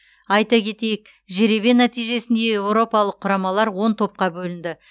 айта кетейік жеребе нәтижесінде еуропалық құрамалар он топқа бөлінді